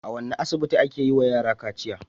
A wane asibiti ake yiwa yara kaciya?